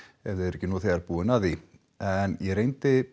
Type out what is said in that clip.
ef þið eruð ekki þegar búin að því en ég reyndi